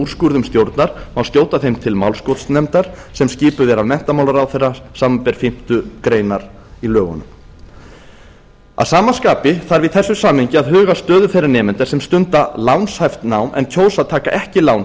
úrskurðum stjórnar má skjóta þeim til málskotsnefndar sem skipuð er af menntamálaráðherra samanber fimmtu grein a í lögunum að sama skapi þarf í þessu samhengi að huga að stöðu þeirra nemenda sem stunda lánshæft lán en kjósa að taka ekki lán